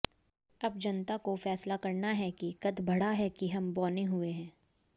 अब जनता को फैसला करना है कि कद बढ़ा है कि हम बौने हुए हैं